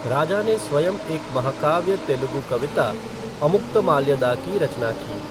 राजा ने स्वयं एक महाकाव्य तेलुगु कविता, अमुक्तमाल्यदा की रचना की।